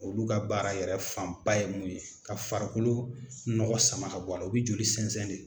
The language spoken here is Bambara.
Olu ka baara yɛrɛ fanba ye mun ye ka farikolo nɔgɔ sama ka bɔ a la u bɛ joli sɛnzɛn de.